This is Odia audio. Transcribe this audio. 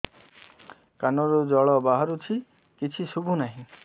କାନରୁ ଜଳ ବାହାରୁଛି କିଛି ଶୁଭୁ ନାହିଁ